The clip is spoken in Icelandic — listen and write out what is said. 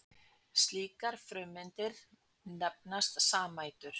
Slíkar frumeindir nefnast samsætur.